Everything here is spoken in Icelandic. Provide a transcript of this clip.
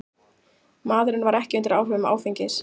Maðurinn var ekki undir áhrifum áfengis